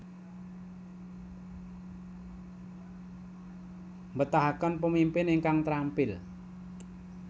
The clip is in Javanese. Betahaken pemimpin ingkang trampil